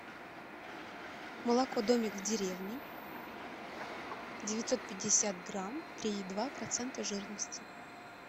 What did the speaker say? молоко домик в деревне девятьсот пятьдесят грамм три и два процента жирности